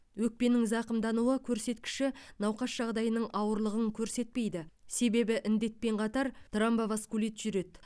өкпенің зақымдануы көрсеткіші науқас жағдайының ауырлығын көрсетпейді себебі індетпен қатар тромбоваскулит жүреді